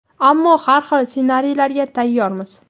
ammo har xil ssenariylarga tayyormiz.